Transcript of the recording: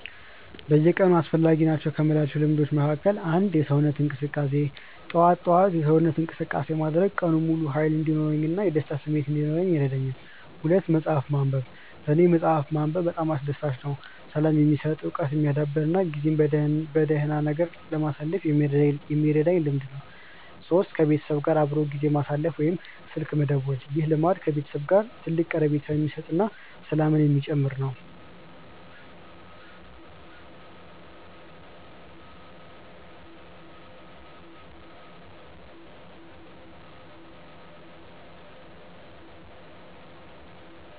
በየቀኑ አስፈላጊ ናቸው ከምላቸው ልምዶች መካከል፦ 1. የሰውነት እንቅስቃሴ፦ ጠዋት ጠዋት የሰውነት እንቅስቃሴ ማድረግ ቀኑን ሙሉ ሃይል እንዲኖረኝ እና የደስታ ስሜት እንዲኖረኝ ይረዳኛል። 2. መፅሐፍ ማንበብ፦ ለኔ መፅሐፍ ማንበብ በጣም አስደሳች፣ ሰላም የሚሰጥ፣ እውቀት የሚያዳብር እና ጊዜን በደህና ነገር ለማሳለፍ የሚረዳኝ ልምድ ነው። 3. ከቤተሰብ ጋር አብሮ ጊዜ ማሳለፍ ወይም ስልክ መደወል፦ ይህ ልምድ ከቤተሰብ ጋር ትልቅ ቀረቤታ የሚሰጥ እና ሰላምን የሚጨምር ነው